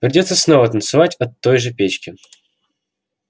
придётся снова танцевать от той же печки